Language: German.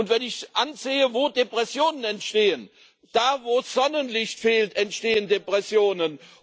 Wenn ich sehe, wo Depressionen entstehen Da, wo das Sonnenlicht fehlt, entstehen Depressionen.